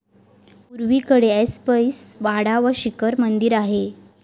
पुर्वेकडे ऐसपैस वाडा व शिखर मंदिर आहे.